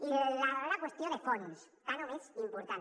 i la darrera qüestió de fons tant o més important